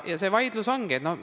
See see vaidlus ongi.